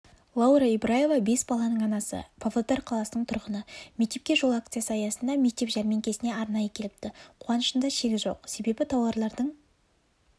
лаура ибраева бес баланың анасы павлодар қаласының тұрғыны мектепке жол акциясы аясында мектеп жәрмеңкесіне арнайы келіпті қуанышында шек жоқ себебі тауарлардың